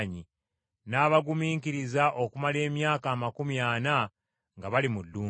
n’abagumiikiriza okumala emyaka amakumi ana nga bali mu ddungu.